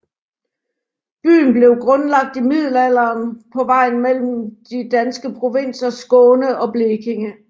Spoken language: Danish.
Byen blev grundlagt i middelalderen på vejen mellem de danske provinser Skåne og Blekinge